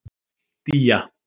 Día